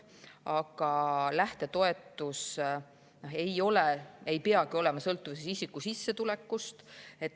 Aga lähtetoetus ei pea olema sõltuvuses isiku sissetulekust.